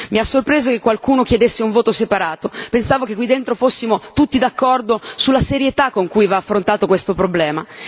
Mi ha sorpreso che qualcuno chiedesse un voto separato, pensavo che qui dentro fossimo tutti d'accordo sulla serietà con cui va affrontato questo problema.